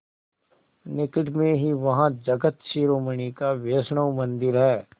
निकट में ही वहाँ जगत शिरोमणि का वैष्णव मंदिर है